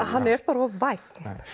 hann er bara of vænn